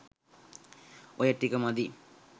ඔය ටික මදි.